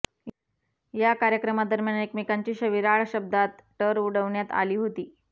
या कार्यक्रमादरम्यान एकमेकांची शविराळ शब्दांत टर उडवण्यात आली होती